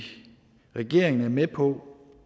regeringen er med på